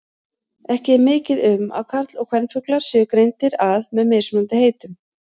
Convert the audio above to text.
Ekki er mikið um að karl- og kvenfuglar séu greindir að með mismunandi heitum.